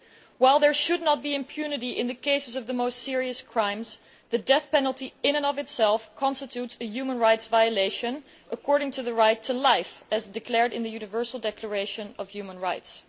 While there should not be impunity for the most serious crimes, the death penalty in and of itself constitutes a human rights violation according to the right to life, as declared in the Universal Declaration of Human Rights.